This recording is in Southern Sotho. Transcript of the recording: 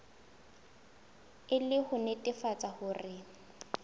e le ho nnetefatsa hore